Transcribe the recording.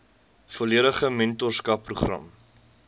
volledige mentorskap program